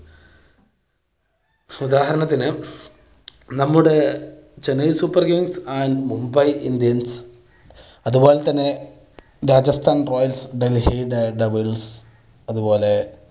ഉദാഹരണത്തിന് നമ്മുടെ Chennai Super Kings and Mumbai Indians അത് പോലെ തന്നെ Rajasthan Royals, Delhi Daredevils അത് പോലെ